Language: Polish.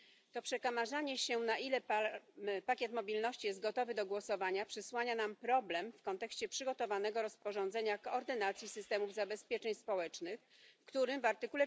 To przekomarzanie się, na ile pakiet mobilności jest gotowy do głosowania, przysłania nam problem w kontekście przygotowanego rozporządzenia o koordynacji systemów zabezpieczeń społecznych, w którym w art.